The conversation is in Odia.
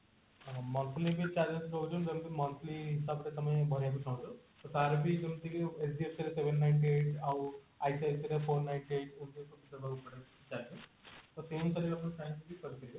monthly ବି charges ରହୁଛି ଯେମତି monthly ହିସାବରେ ତମେ ଦେବାକୁ ଚାହୁଁଛ ତାର ଯେମତିକି HDFC ର seven ninety eight ଆଉ ICICI ର four ninety eight ଏମତି ସବୁ ଦେବାକୁ ପଡେ monthly charges ତ ସେମତି ଯଦି ଆପଣ ଚାହିଁବେ କରିପାରିବେ